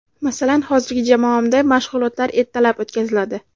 Masalan, hozirgi jamoamda mashg‘ulotlar ertalab o‘tkaziladi.